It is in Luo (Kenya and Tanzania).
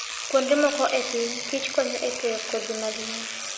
Kuonde moko e piny, kichkonyo e keyo kodhi mag yien.